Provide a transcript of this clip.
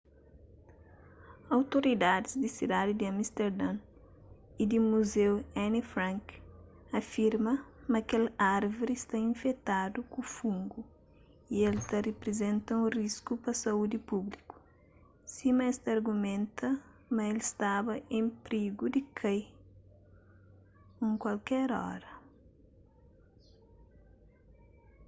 outoridadis di sidadi di amisterdon y di muzeu anne frank afirma ma kel árvri sta infetadu ku fungu y el ta riprizenta un risku pa saúdi públiku sima es ta argumenta ma el staba en prigu di kai un kualker óra